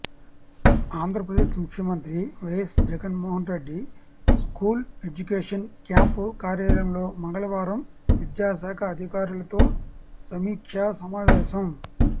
ఆంధ్రప్రదేశ్ ముఖ్యమంత్రి YS Jaganmohan Reddy school ఎడ్యుకేషన్పై camp కార్యాలయంలో మంగళవారం విద్యాశాఖ అధికారులతో సమీక్షా సమావేశం